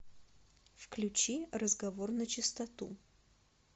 включи разговор начистоту